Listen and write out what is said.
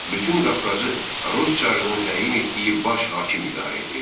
Bütün Qafqazı rus çarının təyin etdiyi baş hakim idarə edirdi.